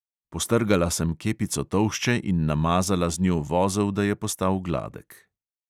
Postrgala sem kepico tolšče in namazala z njo vozel, da je postal gladek.